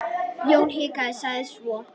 Jón hikaði, sagði svo